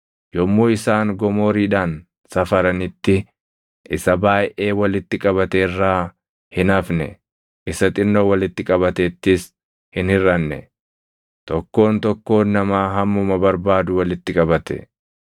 Yommuu isaan gomooriidhaan safaranitti isa baayʼee walitti qabate irraa hin hafne; isa xinnoo walitti qabatettis hin hirʼanne. Tokkoon tokkoon namaa hammuma barbaadu walitti qabate.